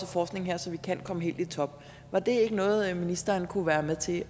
forskning her så vi kan komme helt i top var det ikke noget ministeren kunne være med til